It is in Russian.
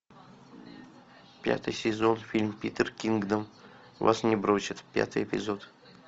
пятый сезон фильм питер кингдом вас не бросит пятый эпизод